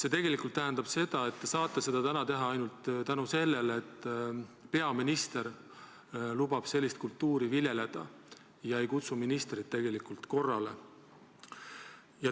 Aga tegelikult te saate seda teha ainult tänu sellele, et peaminister lubab sellist kultuuri viljeleda ega kutsu ministrit korrale.